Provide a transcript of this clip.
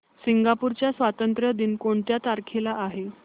Singapore चा स्वातंत्र्य दिन कोणत्या तारखेला आहे